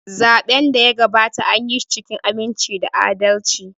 Zaɓen da ya gabata, anyi shi cikin aminci da adalci.